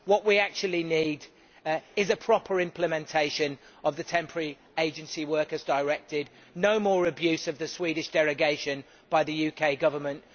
What we actually need is a proper implementation of the Temporary Agency Workers Directive, not more abuse of the Swedish derogation by the UK Government.